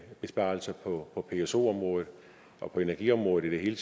besparelser på pso området og på energiområdet i det hele